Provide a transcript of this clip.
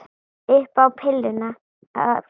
Upp á pilluna að gera.